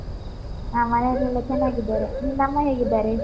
ಹಾ ಮನೆಯಲ್ಲೆಲ್ಲಾ ಚೆನ್ನಾಗಿದ್ದಾರೆ, ನಿನ್ನಮ್ಮ ಹೇಗಿದ್ದಾರೆ?